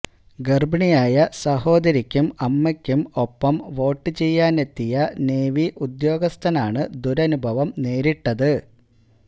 ഗർഭിണിയായ സഹോദരിക്കും അമ്മയ്ക്കും ഒപ്പം വോട്ട് ചെയ്യാനെത്തിയ നേവി ഉദ്യോഗസ്ഥാനാണ് ദുരനുഭവം നേരിട്ടത്